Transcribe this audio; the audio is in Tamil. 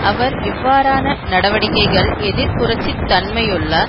அவர் இவ்வாறான நடவடிக்கைகள் எதிர் புரட்சி தன்மையுள்ள